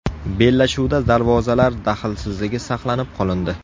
Bellashuvda darvozalar daxlsizligi saqlanib qolindi.